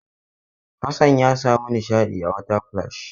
Hassan ya sami nishaɗi a water splash.